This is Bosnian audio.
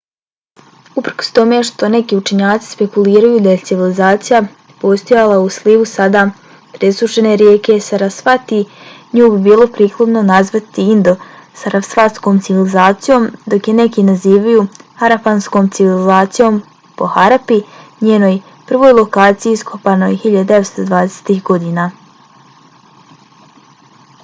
uprkos tome što neki učenjaci spekuliraju da je civilizacija postojala i u slivu sada presušene rijeke sarasvati nju bi bilo prikladno nazivati indo-sarasvatskom civilizacijom dok je neki nazivaju harapanska civilizacija po harapi njenoj prvoj lokaciji iskopanoj 1920-ih godina